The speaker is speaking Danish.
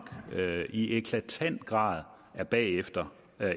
i eklatant grad bagefter